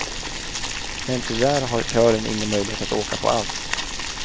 Men tyvärr har kören ingen möjlighet att åka på allt.